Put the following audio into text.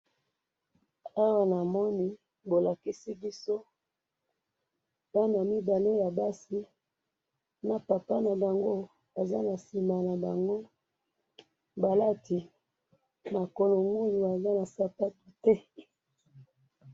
Awa na moni bana mibale ya basi baza makulungulu baza na sapato te, na papa na bango na sima.